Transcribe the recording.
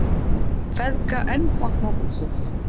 Feðga enn saknað í Sviss